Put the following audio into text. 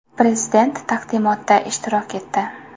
Prezident taqdimotda ishtirok etdi.